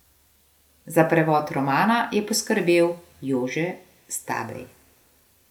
Za prevod romana je poskrbel Jože Stabej.